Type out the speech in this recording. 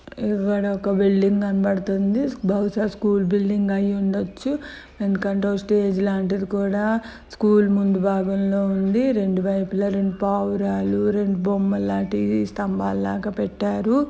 ఇక్కడ ఒక బిల్డింగ్ కనడపతుంది బహుశా స్కూల్ బిల్డింగ్ అయ్యిఉండొచ్చు ఎందుకు అంటే ఒక స్టేజి లాంటిది కూడా స్కూల్ ముందు భాగం ఉంది రెండు వైపులా రెండు పావురాలు రెండు బొమ్మలాటివి స్థంబాలులాగ పెట్టారు.